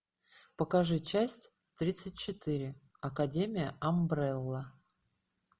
покажи часть тридцать четыре академия амбрелла